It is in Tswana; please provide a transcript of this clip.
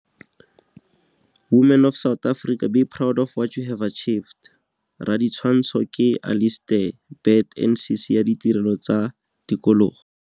Women of South Africa, be proud of what you have achieved. Raditshwantsho ke Alistair Burt NCC ya Ditirelo tsa Tikologo.